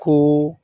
Ko